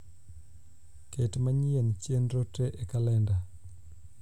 ket manyien chenro te e kalenda